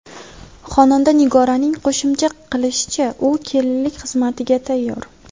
Xonanda Nigoraning qo‘shimcha qilishicha, u kelinlik xizmatiga tayyor.